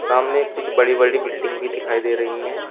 सामने कुछ बड़ी बड़ी बिल्डिंग भी दिखाई दे रही हैं।